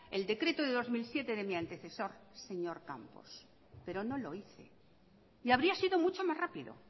el decreto de dos mil siete de mi antecesor señor campos pero no lo hice y habría sido mucho más rápido